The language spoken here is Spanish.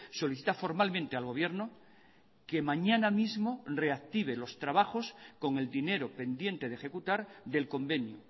solicita formalmente al gobierno que mañana mismo reactive los trabajos con el dinero pendiente de ejecutar del convenio